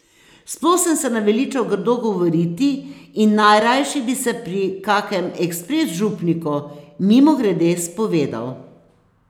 Sploh sem se naveličal grdo govoriti in najrajši bi se pri kakem ekspres župniku mimogrede spovedal.